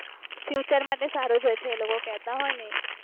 future માટે સૃજ હોય છે એ કેટ હોઈ ને એ